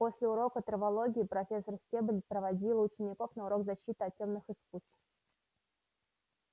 после урока травологии профессор стебль проводила учеников на урок защиты от тёмных искусств